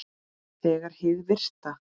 Þegar hið virta